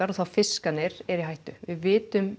og þá fiskarnir eru í hættu við vitum